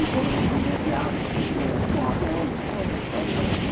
E foram privilegiados, porque até hoje eles são a capital do Brasil.